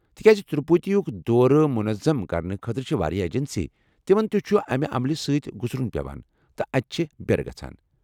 تِکیٛازِ تِروٗپتی ہُک دورٕ منعظم کرنہٕ خٲطرٕ چھِ واریاہ ایجنسی، تِمن تہ چُھ امہِ عملِ سۭتۍ گُزرُن پیوان ، تہٕ اتہِ چھِ بیٚرٕ گژھان ۔